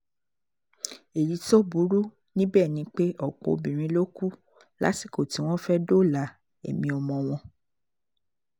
èyí tó burú níbẹ̀ ni pé ọ̀pọ̀ obìnrin ló kú lásìkò tí wọ́n fẹ́ẹ́ dóòlà ẹ̀mí ọmọ wọn